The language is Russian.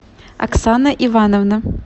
оксана ивановна